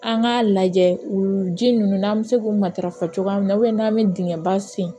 An k'a lajɛ u ji ninnu n'an bɛ se k'u matarafa cogoya minna n'an bɛ dingɛ ba sen